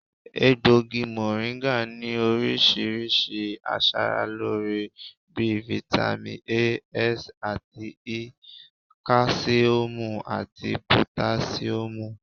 Egbògi mọ̀ríńgà ní oríṣiríṣi aṣaralóore bí i fitami A, S àti Ẹ, káṣíọ̀mù àti pòtáṣíọ̀mù